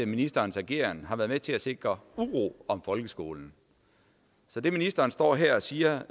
ministerens ageren har været med til at sikre uro om folkeskolen så det ministeren står her og siger